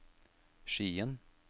Skien